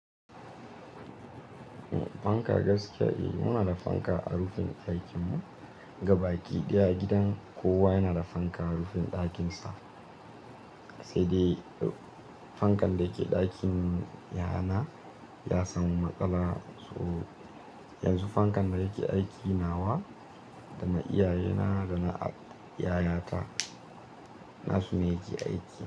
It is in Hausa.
Fanka gaskiya eh muna da fanka a rufin ɗakin mu, gaba ɗaya gidan kowa yana da fanka a rufin ɗakin sa. Sai dai fankan da yake ɗakin yayana, ya samu matsala so yanzu fankan da yake aiki nawa, dana iyaye na da na yayata nasu ne yake aiki.